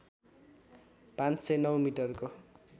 ५०९ मिटरको